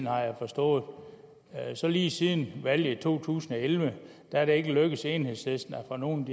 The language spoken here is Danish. har jeg forstået så lige siden valget i to tusind og elleve er det ikke lykkedes enhedslisten at få nogle